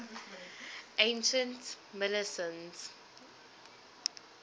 ancient milesians